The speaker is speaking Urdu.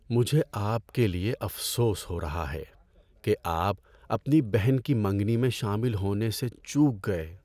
مجھے آپ کے لیے افسوس ہو رہا ہے کہ آپ اپنی بہن کی منگنی میں شامل ہونے سے چوک گئے۔